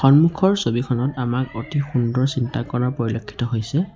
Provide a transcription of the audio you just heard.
সম্মুখৰ ছবিখনত আমাক অতি সুন্দৰ চিন্তা কৰা পৰিলক্ষিত হৈছে।